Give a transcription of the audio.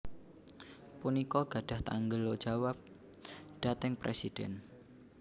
punika gadhah tanggel jawab dhateng Presidhèn